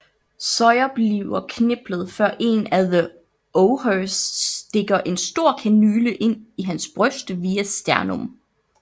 Sawyer bliver kneblet før en af the Orhers stikker en stor kanyle ind i hans bryst via sternum